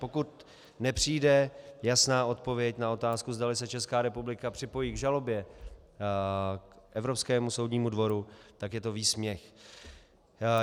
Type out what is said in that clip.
Pokud nepřijde jasná odpověď na otázku, zdali se Česká republika připojí k žalobě k Evropskému soudnímu dvoru, tak je to výsměch.